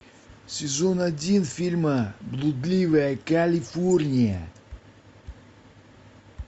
сезон один фильма блудливая калифорния